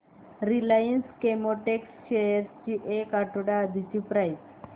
Reliance Chemotex shares ची एक आठवड्या आधीची प्राइस